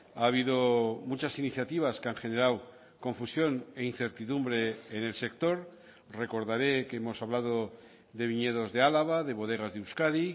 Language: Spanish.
ha habido muchas iniciativas que han generado confusión e incertidumbre en el sector recordaré que hemos hablado de viñedos de álava de bodegas de euskadi